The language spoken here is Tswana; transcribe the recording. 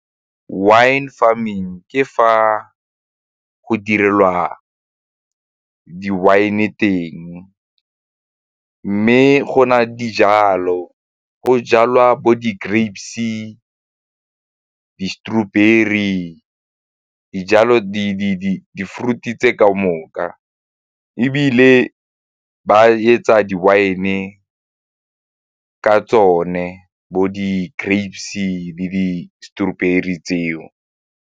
Wine farming ke fa go direlwa di-wine teng mme go na dijalo, go jalwa bo di-grapes-e, di-strawberry, di-fruits tse ka moka ebile ba etsa di-wine ka tsone bo di-grapes-e le di-strawberry tseo.